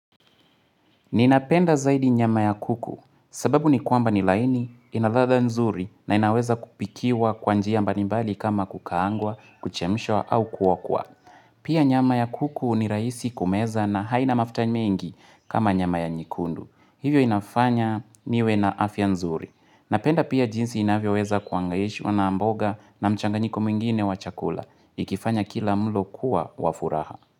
Ninapenda zaidi nyama ya kuku sababu ni kwamba ni laini ina ladha nzuri na inaweza kupikiwa kwa njia mbalimbali kama kukaangwa, kuchemshwa au kuokwa. Pia nyama ya kuku ni raisi kumeza na haina mafuta mengi kama nyama ya nyekundu. Hivyo inafanya niwe na afya nzuri. Napenda pia jinsi inavyoweza kuangaishwa na mboga na mchanganyiko mwingine wa chakula. Ikifanya kila mlo kuwa wa furaha.